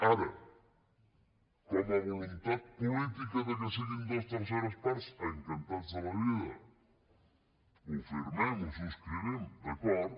ara com a voluntat política de que siguin dues terceres parts encantats de la vida ho firmem ho subscrivim d’acord